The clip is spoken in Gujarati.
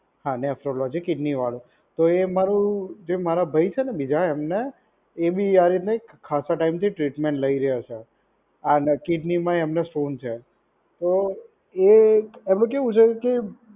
હા નેફ્રોલોજી કિડની વાળું. તો એ મારુ જે મારા ભાઈ છે ને બીજા એમને એ બી આ રીતના એક ખાસા ટાઈમથી ટ્રીટમેન્ટ લઇ રહ્યા છે. હા અને કિડની માંય એમને સ્ટોન છે. તો એ આપડે કેવું છે કે